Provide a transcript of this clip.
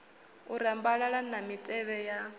u rambalala na mitevhe ya